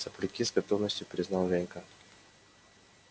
сопляки с готовностью признал женька